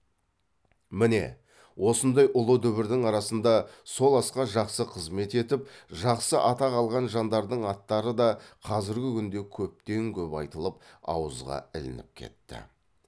міне осындай ұлы дүбірдің арасында сол асқа жақсы қызмет етіп жақсы атақ алған жандардың аттары да қазіргі күнде көптен көп айтылып ауызға ілініп кетті